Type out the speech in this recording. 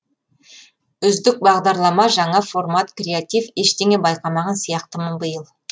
үздік бағдарлама жаңа формат креатив ештеңе байқамаған сияқтымын биыл